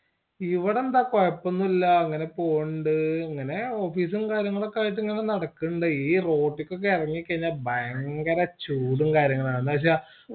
യിവിടെന്താ കൊയ്‌പോന്നുഇല്യ അങ്ങനെ പോണ്ട് അങ്ങനെ office ഉം കാര്യങ്ങളൊക്കെയായിട്ട് ഇങ്ങനെ നടക്കണ്ടേയ് ഈ road ട്ടക്ക് ഒക്കെ ഇറങ്ങിക്കഴിഞ്ഞ ഭയങ്കര ചൂടുംകാര്യങ്ങളൊക്കെയാണ് എന്നവെച്ച